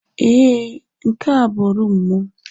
Ee, nke a bụ rumụ m.